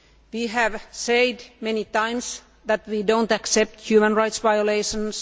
We have said many times that we do not accept human rights violations.